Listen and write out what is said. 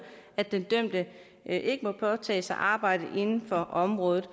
at den dømte ikke må påtage sig arbejde inden for området